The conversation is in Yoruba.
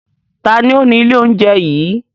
Taàní ó ní ilé oúnjẹ yìí?